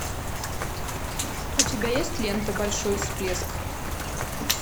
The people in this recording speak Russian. у тебя есть лента большой всплеск